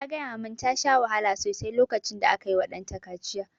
Ta gaya mun ta sha wahala sosai lokacin da aka yi wa ɗanta kaciya